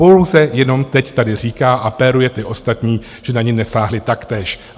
Pouze jenom teď tady říká a péruje ty ostatní, že na ni nesáhli taktéž.